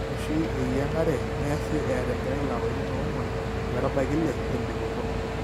Ore oshi iyieng'are neasi eeta engerai ilapaitin oong'uan ometabaiki ile lembikoto.